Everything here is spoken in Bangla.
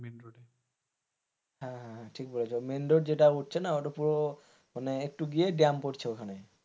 হ্যাঁ হ্যাঁ ঠিক বলেছ মেইন রোড যেটা উঠছে না ওটা পুরো মানে একটু গিয়ে পড়ছে ওখানে,